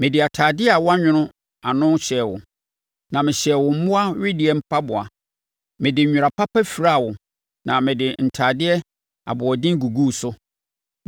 Mede atadeɛ a wɔanwono ano hyɛɛ wo, na mehyɛɛ wo mmoa wedeɛ mpaboa. Mede nwera papa firaa wo na mede ntadeɛ aboɔden guguu so.